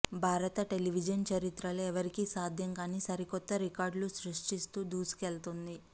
భారత టెలివిజన్ చరిత్రలో ఎవరికీ సాధ్యం కాని సరికొత్త రికార్డులు సృష్టిస్తూ దూసుకెళ్తోంది